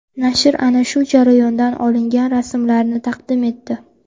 Nashr ana shu jarayondan olingan rasmlarni taqdim etdi.